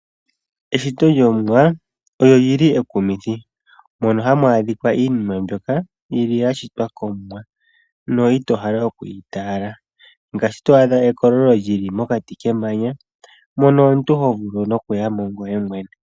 Eshito lyomuwa olyo lili ekumithi mono hamu adhika iinima mbyoka yili ya shitwa komuwa no ito hala oku ita yela ngaashi to adha ekololo lili mokati kemangya mono omuntu ho vulu okuya mo ngoye nwene.